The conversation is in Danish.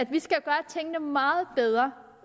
vi skal gøre tingene meget bedre